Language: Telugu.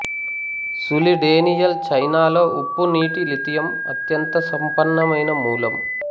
సులి డేనియల్ చైనాలో ఉప్పునీటి లిథియం అత్యంత సంపన్నమైన మూలం